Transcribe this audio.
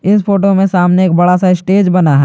इन photo में सामने एक बड़ा सा स्टेज बना है।